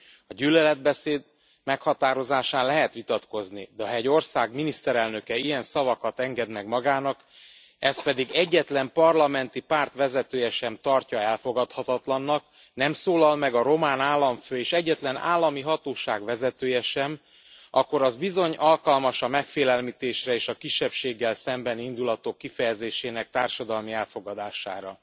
A gyűlöletbeszéd meghatározásán lehet vitatkozni, de ha egy ország miniszterelnöke ilyen szavakat enged meg magának, ezt pedig egyetlen parlamenti párt vezetője sem tartja elfogadhatatlannak, nem szólal meg a román államfő és egyetlen állami hatóság vezetője sem, akkor az bizony alkalmas a megfélemlítésre és a kisebbséggel szembeni indulatok kifejezésének társadalmi elfogadására.